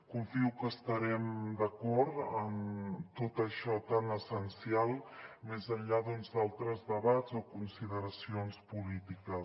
confio que estarem d’acord en tot això tan essencial més enllà d’altres debats o consideracions polítiques